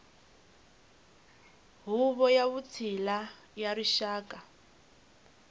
huvo ya vutshila ya rixaka